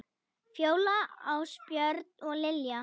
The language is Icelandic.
Fjóla, Ásbjörn og Lilja.